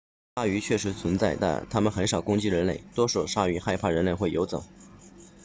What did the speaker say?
鲨鱼确实存在但它们很少攻击人类多数鲨鱼害怕人类会游走